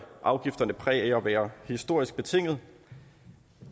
afgifterne præg af at være historisk betinget